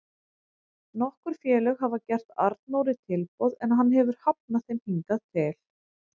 Nokkur félög hafa gert Arnóri tilboð en hann hefur hafnað þeim hingað til.